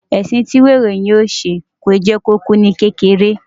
Ẹ̀sìn tí wèrè yóò ṣe, kìí jẹ́ kó kú ní kékeré.